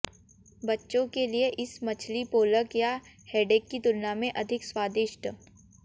बच्चों के लिए इस मछली पोलक या हेडेक की तुलना में अधिक स्वादिष्ट